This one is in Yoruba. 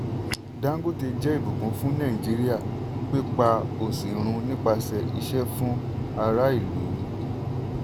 dangote jẹ́ ìbùkún fún nàìjíríà pípa òṣì run nípasẹ̀ iṣẹ́ fún ará ìlú.